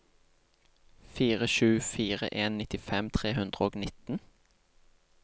fire sju fire en nittifem tre hundre og nitten